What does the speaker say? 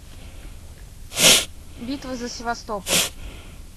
битва за севастополь